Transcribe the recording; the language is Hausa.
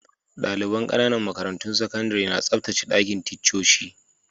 Dalibain ƙananan makarantun sakandare na tsabtacen dakin ticcoci.